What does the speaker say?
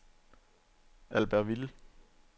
Albertville